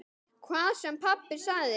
Hvað sem pabbi sagði.